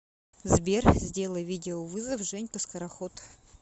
сбер сделай видеовызов женька скороход